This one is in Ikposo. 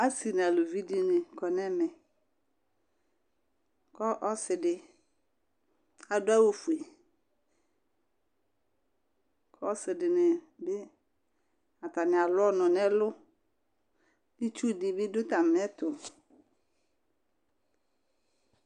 Asɩ nu aluvɩ ɖɩnɩ kɔ nɛmɛ Kɔ ɔsɩ ɖɩ aɖu awu foe Ɔsɩ ɖɩnɩ bɩ atanɩ alu ɔnu nɛlu Ɩtsu ɖɩ bɩ ɖu atami ɛtu